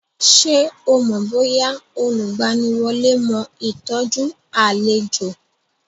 Ṣé o mọ̀ bóyá olùgbaniwọlé mó ìtọ́jú àlejò.